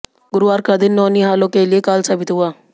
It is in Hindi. गुरूवार का दिन नौनिहालों के लिए काल साबित हुआ